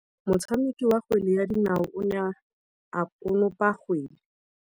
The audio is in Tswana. Motshameki wa kgwele ya dinaô o ne a konopa kgwele.